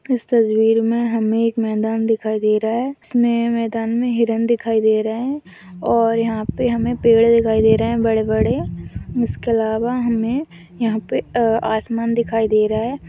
इस तस्वीर में हमें एक मैदान दिखाई दे रहा है इसमें मैदान में हिरण दिखाई दे रहा है और यहाँ पे हमें पेड़ दिखाई दे रहे हैं बड़े-बड़े इसके अलावा हमें यहाँ पे अ आसमान दिखाई दे रहा है।